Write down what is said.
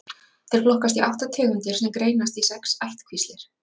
þeir flokkast í átta tegundir sem greinast í sex ættkvíslir